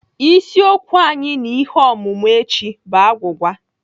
Isiokwu anyị na ihe ọmụmụ echi bụ agwụgwa.